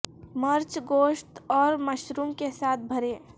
مرچ گوشت اور مشروم کے ساتھ بھرے